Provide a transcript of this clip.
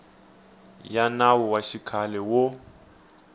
ya nawu wa xikhale wo